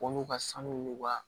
N'u ka sanu n'u ka